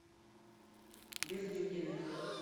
бердюгина